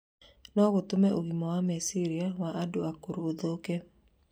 no gũtũme ũgima wa meciria wa andũ akũrũ ũthũke.